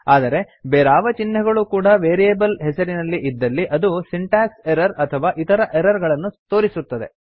ಆದರೆ ಬೇರಾವ ಚಿಹ್ನೆಗಳೂ ಕೂಡಾ ವೇರಿಯೇಬಲ್ ಹೆಸರಿನಲ್ಲಿ ಇದ್ದಲ್ಲಿ ಅದು ಸಿಂಟಾಕ್ಸ್ ಎರ್ರರ್ ಅಥವಾ ಇತರ ಎರ್ರರ್ ಗಳನ್ನು ತೋರಿಸುತ್ತದೆ